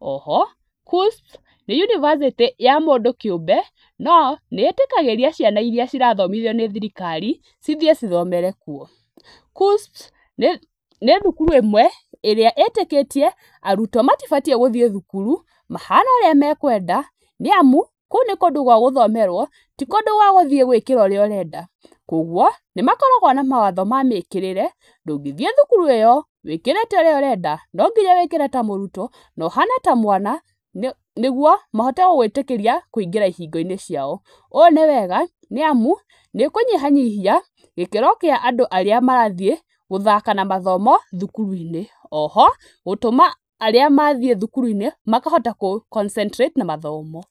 O ho KUSP nĩ nĩ Yunbacĩtĩ ya mũndũ kĩũmbe nĩ ĩtĩkagĩria ciana iria cirathomithio nĩ thirikari cithiĩ cithomere kuo. KUSP nĩ thukuru ĩmwe ĩrĩa ĩtĩkĩtie arutwo matibatiĩ gũthiĩ thukuru mahana ũrĩa mekwenda, nĩamu kũũ nĩ kũndũ gwa gũthomerwo ti kũndũ gwa gũthiĩ gũĩkĩra ũrĩa ũrenda kwa ũguo nĩmakoragwo na mawatho ma mĩkĩrĩre, ndũngĩthĩe thukuru ĩyo wĩkĩrĩte ũrĩa ũrenda no nginya wĩkĩre ta mũrutwo na ũhane ta mwana, nĩguo mahote gũgũĩtĩkĩria wĩĩngĩre ihingo-inĩ ciao, ũũ nĩ wega nĩamu nĩ ũkũnyihanyihia gĩkĩro kĩa andũ arĩa marathiĩ gũthaka na mathomo thukuru-inĩ o ho, gũtũma arĩa mathiĩ thukuru-inĩ makahota gũ concetrate na mathomo.